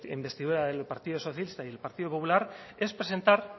investidura del partido socialista y el partido popular es presentar